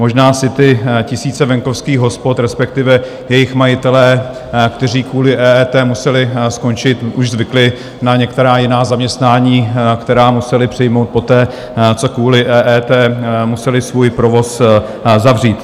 Možná si ty tisíce venkovských hospod, respektive jejich majitelé, kteří kvůli EET museli skončit, už zvykli na některá jiná zaměstnání, která museli přijmout poté, co kvůli EET museli svůj provoz zavřít.